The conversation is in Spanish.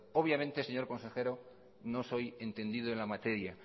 obviamente señor consejero no soy entendido en la materia